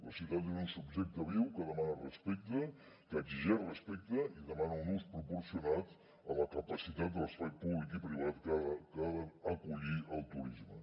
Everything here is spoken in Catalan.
la ciutat és un subjecte viu que demana respecte que exigeix respecte i demana un ús proporcionat a la capacitat de l’espai públic i privat que ha d’acollir el turisme